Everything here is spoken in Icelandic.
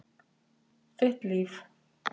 Þitt líf.